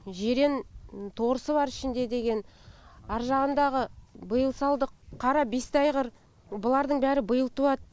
жирен торысы бар ішінде деген аржағындағы биыл салдық қара бесті айғыр бұлардың бәрі биыл туады